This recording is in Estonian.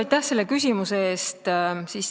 Aitäh selle küsimuse eest!